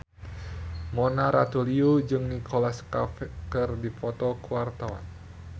Mona Ratuliu jeung Nicholas Cafe keur dipoto ku wartawan